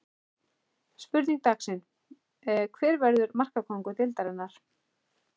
Spurning dagsins er: Hver verður markakóngur deildarinnar?